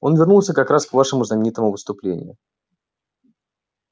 он вернулся как раз к вашему знаменитому выступлению